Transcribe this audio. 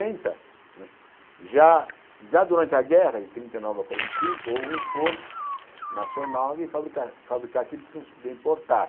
né, já já durante a guerra de trinta e nove a quarenta e cinco, houve um esforço nacional de fabricar fabricar aquilo que não se podia importar.